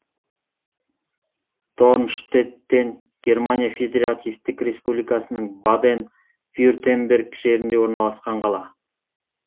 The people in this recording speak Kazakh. дорнштеттен германия федеративтік республикасының баден вюртемберг жерінде орналасқан қала